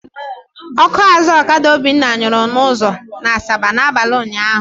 Ọkụ azụ ọkada Obinna nyụrụ n'ụzọ Asaba n'abalị ụnyaahụ.